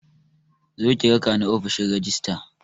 Zo ki rakani ofishin rajistira